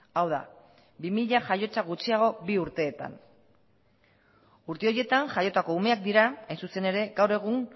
hau da bi mila jaiotza gutxiago bi urteetan urte horietan jaiotako umeak dira hain zuzen ere gaur egun